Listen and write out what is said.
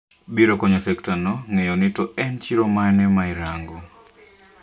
Biro konyo sekta no ng'eyo ni to en chiro mane ma irango